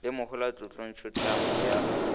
le mohola tlotlontšu tlhamo ya